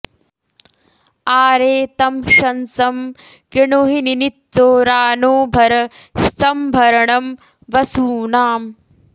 आ॒रे तं शंसं॑ कृणुहि निनि॒त्सोरा नो॑ भर स॒म्भर॑णं॒ वसू॑नाम्